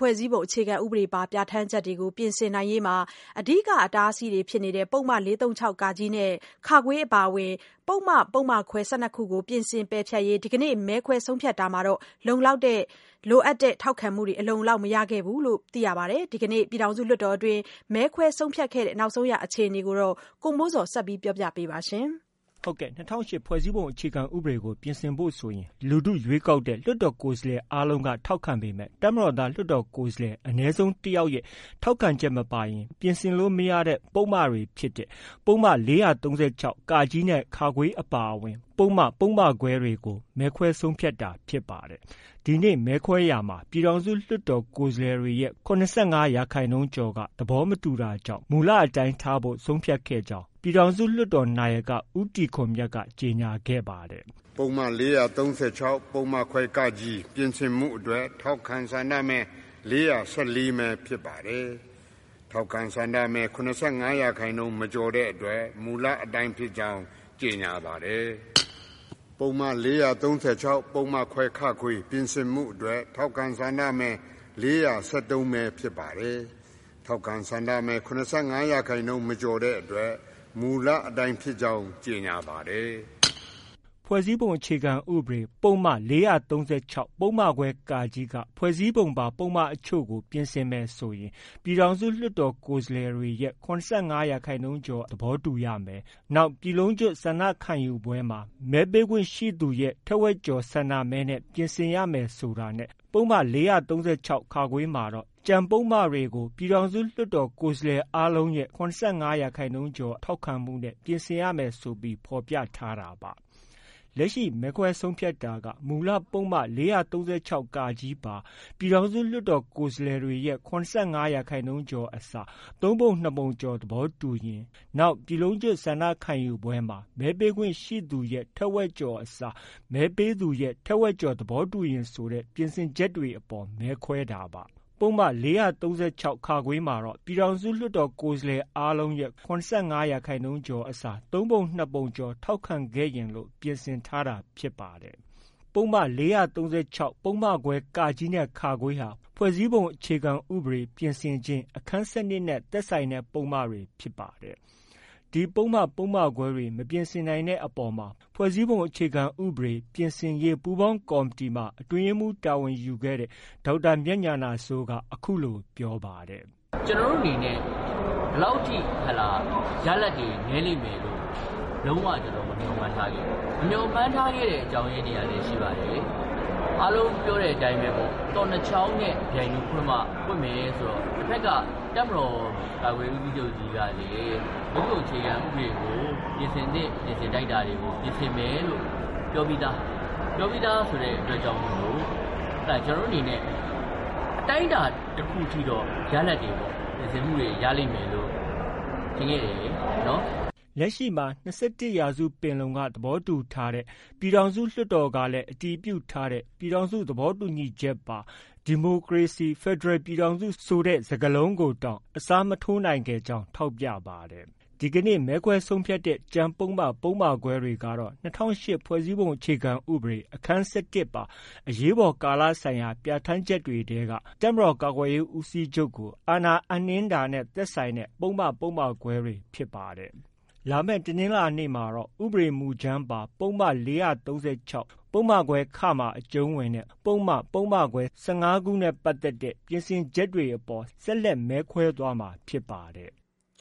ဖွဲ့စည်းပုံအခြေခံဥပဒေပါ ပြဌာန်းချက်တွေကို ပြင်ဆင်နိုင်ရေးမှာ အဓိက အတားအဆီးဖြစ်တဲ့ ပုဒ်မ ၄၃၆ နဲ့ အပါအဝင် ပုဒ်မ ပုဒ်မခွဲ ၁၂ ခုကို ပြင်ဆင် ပယ်ဖျက်ရေး ဒီကနေ့ မဲခွဲဆုံးဖြတ်တာမှာလည်း လိုအပ်တဲ့ထောက်ခံမှု အလုံအလောက် မရခဲ့ပါဘူး။ ဒီကနေ့ ပြည်ထောင်စုလွှတ်တော်တွင်း မဲခွဲဆုံးဖြတ်ခဲ့တဲ့ အခြေအနေကို ဗွီအိုအေသတင်းထောက် ကိုမိုးဇော်က ဆက်ပြောပြပါမယ်။ ၂၀၀၈ ဖွဲ့စည်းပုံအခြေခံဥပဒေကို ပြင်ဆင်ဖို့ဆိုရင် လူထု ရွေးကောက်တဲ့ လွှတ်တော်ကိုယ်စားလှယ် အားလုံးက ထောက်ခံပေမဲ့ တပ်မတော်သား လွှတ်တော်ကိုယ်စားလှယ် အနည်းဆုံးတစ်ယောက်ရဲ့ ထောက်ခံချက်မပါရင် ပြင်ဆင်လို့ မရတဲ့ ပုဒ်မတွေဖြစ်တဲ့ ပုဒ်မ ၄၃၆ နဲ့ အပါအဝင် ပုဒ်မ၊ ပုဒ်မခွဲတွေ ကို မဲခွဲဆုံးဖြတ်တာဖြစ်ပါတယ်။ ဒီနေ့ မဲခွဲရာမှာလည်း ပြည်ထောင်စုလွှတ်တော် ကိုယ်စားလှယ်တွေရဲ့ ၇၅ရာခိုင်နှုန်းကျော်က သဘောမတူတာကြောင့် မူလအတိုင်းထားရှိဖို့ ဆုံးဖြတ်ခဲ့ကြောင်း လွှတ်တော်နာယက ဦးတီခွန်မြတ်က ကြေညာခဲ့ပါတယ်။ "ပုဒ်မ ၄၃၆ ပုဒ်မခွဲ ပြင်ဆင်မှုအတွက် ထောက်ခံ ဆန္ဒမဲ ၄၁၄မဲ ဖြစ်ပါတယ်။ ထောက်ခံ ဆန္ဒမဲ ၇၅ရာခိုင်နှုန်း မကျော်တဲ့အတွက် မူလအတိုင်းဖြစ်ကြောင်း ကြေညာပါတယ်။ ပုဒ်မ ၄၃၆ ပုဒ်မခွဲ ပြင်ဆင်မှုအတွက် ထောက်ခံ ဆန္ဒမဲ ၄၁၃မဲ ဖြစ်ပါတယ်။ ထောက်ခံ ဆန္ဒမဲ ၇၅ ရာခိုင်နှုန်း မကျော်တဲ့အတွက် မူလအတိုင်းဖြစ်ကြောင်း ကြေညာပါတယ်။” ၂၀၀၈ ဖွဲ့စည်းပုံအခြေခံဥပဒေ ပုဒ်မ ၄၃၆ ပုဒ်မခွဲ က ဖွဲ့စည်းပုံပါ ပုဒ်မအချို့ကို ပြင်ဆင်မယ်ဆိုရင် ပြည်ထောင်စု လွှတ်တော်ကိုယ်စားလှယ်တွေရဲ့ ၇၅ရာခိုင်နှုန်းကျော် သဘောတူရမယ်။ နောက် ပြည်လုံးကျွတ်ဆန္ဒခံယူပွဲမှာ မဲပေးခွင့်ရှိသူရဲ့ ထက်ဝက်ကျော် ဆန္ဒမဲနဲ့ ပြင်ဆင်ရမယ်ဆိုတာနဲ့ ပုဒ်မ ၄၃၆ မှာ တော့ ကျန်ပုဒ်မတွေကို ပြည်ထောင်စုလွှတ်တော် ကိုယ်စားလှယ်အားလုံးရဲ့ ၇၅ရာခိုင်နှုန်း ထောက်ခံမှုနဲ့ ပြင်ဆင်ရမယ် ဆိုပြီး ဖော်ပြထားတာပါ။ လက်ရှိ မဲခွဲဆုံးဖြတ်တာက မူလ ပုဒ်မ ၄၃၆ ပါ ပြည်ထောင်စု လွှတ်တော်ကိုယ်စားလှယ်တွေရဲ့ ၇၅ရာခိုင်နှုန်းကျော်အစား သုံးပုံ နှစ်ပုံကျော်သဘောတူရင်၊ နောက် ပြည်လုံးကျွတ်ဆန္ဒခံယူပွဲမှာ မဲပေးခွင့်ရှိသူရဲ့ ထက်ဝက်ကျော်အစား မဲပေးသူရဲ့ ထက်ဝက်ကျော် သဘောတူရင်ဆိုတဲ့ ပြင်ဆင်ချက်တွေအပေါ် မဲခွဲတာပါ။ ပုဒ်မ ၄၃၆ မှာတော့ ပြည်ထောင်စုလွှတ်တော် ကိုယ်စားလှယ်အားလုံးရဲ့ ၇၅ရာခိုင်နှုန်း အစား သုံးပုံ နှစ်ပုံကျော် ထောက်ခံရင်လို့ ပြင်ဆင်ထားတာဖြစ်ပါတယ်။ ဒီပုဒ်မ ၄၃၆ ပုဒ်မခွဲ နဲ့ ဟာ ဖွဲ့စည်းပုံအခြေခံဥပဒေပြင်ဆင်ခြင်း၊ အခန်း ၁၂ နဲ့ သက်ဆိုင်တဲ့ပုဒ်မတွေဖြစ်ပါတယ်။ ဒီပုဒ်မ၊ ပုဒ်မခွဲတွေ မပြင်ဆင်နိုင်တဲ့အပေါ်မှာ ဖွဲ့စည်းပုံအခြေခံဥပဒေ ပြင်ဆင်ရေး ပူုးပေါင်းကော်မတီမှာ အတွင်းရေးမှုးတာဝန်ယူခဲ့တဲ့ ဒေါက်တာ မြတ်ဉာဏစိုးက အခုလို ပြောပါတယ်။ “ကျနော်တို့ အနေနဲ့ ရလဒ်တွေ ဒီလောက်ထိ နည်းလိမ့်မယ်လို့ လုံး၀ မမျှော်မှန်းထားခဲ့ဘူး။ မမျှော်မှန်းထားတဲ့အကြောင်းရင်းများလည်း ရှိပါတယ်။ အားလုံးပြောတဲ့အတိုင်းပေါ့၊ သော့နှစ်ချောင်းနဲ့ ပြိုင်တူဖွင့်မှ ပွင့်မယ်ဆိုတော့ တစ်ဘက်က တပ်မတော်ကာကွယ်ရေးဦးစီးချုပ်ကြီးကလည်း ဖွဲ့စည်းပုံအခြေခံဥပဒေကို ပြင်ဆင်သင့် ပြင်ဆင်ထိုက်တာတွေကို ပြင်ဆင်မယ်လို့ ပြောပြီးသား။ ပြောပြီးသားဆိုတဲ့အတွက်ကြောင့်မို့ ကျနော်တို့အနေနဲ့ အတိုင်းအတာတစ်ခုထိတော့ ရလဒ်တွေ ပြင်ဆင်မှုတွေ ရလိမ့်မယ်လို့ ထင်ခဲ့တယ်။ ” လက်ရှိမှာ ၂၁ ရာစုပင်လုံက သဘောတူထားပြီး ပြည်ထောင်စုလွှတ်တော်က အတည်ပြုထားတဲ့ ပြည်ထောင်စု သဘောတူညီချက်ပါ ဒီမိုကရေစီ၊ဖက်ဒရယ်ပြည်ထောင်စု ဆိုတဲ့ စကားလုံးကိုတောင် အစားထိုးမရနိုင်ခဲ့ ကြောင်း ထောက်ပြပါတယ်။ ဒီကနေ့ မဲခွဲဆုံးဖြတ်တဲ့ ကျန်ပုဒ်မ၊ ပုဒ်မခွဲတွေကတော့ ၂၀၀၈ခုနှစ် ဖွဲ့စည်းပုံအခြေခံဥပဒေ အခန်း ပါ အရေးပေါ်ကာလဆိုင်ရာ ပြဌာန်းချက်များထဲက တပ်မတော်ကာကွယ်ရေးဦးစီးချုပ်ကို အာဏာအပ်နှင်းခြင်းတဲ့ သက်ဆိုင်တဲ့ ပုဒ်မ၊ ပုဒ်မခွဲတွေ ဖြစ်ပါတယ်။ လာမယ့် တနင်္လာနေ့မှာတော့ ဥပဒေမူကြမ်းပါ ပုဒ်မ ၄၃၆၊ ပုဒ်မခွဲ မှာ အကျုံးဝင်တဲ့ ပုဒ်မ၊ ပုဒ်မခွဲ ၁၅ခုကို ပြင်ဆင်ချက်တွေအပေါ် ဆက်လက် မဲခွဲသွားမှာဖြစ်ပါတယ်။